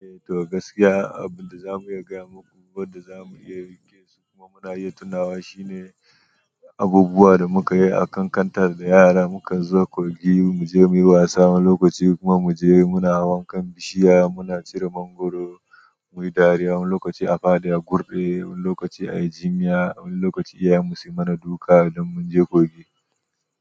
Eh to gaskiya abin da za mu iya gaya muku, wanda za mu iya riƙe su kuma muna iya tunawa shine abubuwan da muka yi a kan kantar da yara mukan zo kogi mu je muyi wasa wani lokaci kuma mu je muna wankan bishiya, muna cire mangwaro, muyi dariya, wani lokaci a faɗi a kurɓe, wani lokaci a yi jinya, wani lokaci iyayen mu su yi mana duka don mun je kogi.